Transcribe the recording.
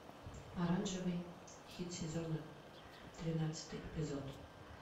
оранжевый хит сезона тринадцатый эпизод